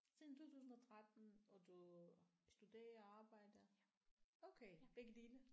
Siden 2013 og du studerer arbejder okay begge dele